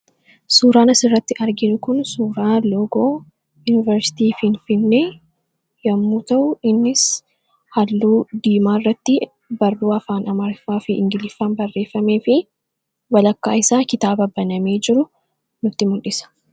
Suuraan as irratti arginu kun suuraa loogoo yuniversiitii Finfinnee yemmuu ta'u, innis haalluu diimaa irrattti barruu afaan Amaaraafi ingiliffaan barreeffameefi walakkaa isaa kitaaba banamee jiru nutti mul'isa.